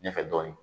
Ɲɛfɛ dɔɔnin